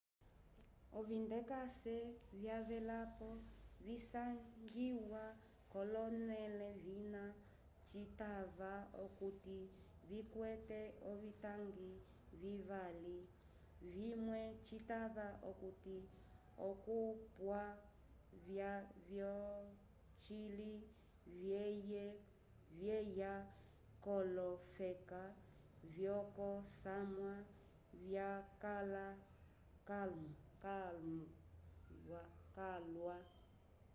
ovindekase vyavelapo visangiwa k'olonẽle vina citava okuti vikwete ovitangi vivali vimwe citava okuti okopya vyocili vyeya k'olofeka vyokosamwa vyakãla calwa